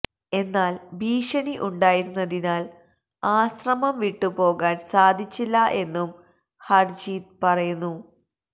എന്നാല് ഭീഷണി ഉണ്ടായിരുന്നതിനാല് ആശ്രമം വിട്ടു പോകാന് സാധിച്ചില്ല എന്നും ഹര്ജീത് പറയുന്നു